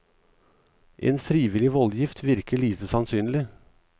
En frivillig voldgift virker lite sannsynlig.